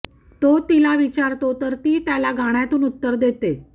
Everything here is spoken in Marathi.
तो तिला विचारतो तर ती त्याला गाण्यातून उत्तर देते